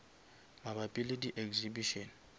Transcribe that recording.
mabapi le di exhibition